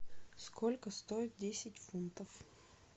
сколько стоит десять фунтов